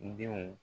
Denw